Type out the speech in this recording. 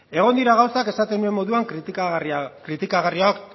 egon dira gauzak esaten nuen moduan kritikagarriak